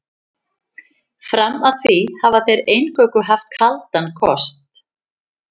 Fram að því hafa þeir eingöngu haft kaldan kost.